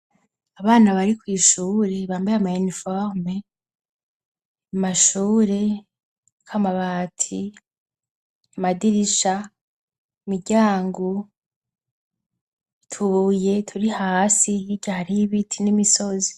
Abana bari kw'ishure, bambaye ama ininiforme, amashure ariko amabati, amadirisha, imiryango, utubuye turi hasi, hirya hariho ibiti n'imisozi.